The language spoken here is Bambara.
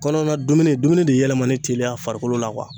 Kɔnɔna dumuni dumuni de yɛlɛmani teliya a farikolo la